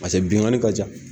Pase bingani ka ca.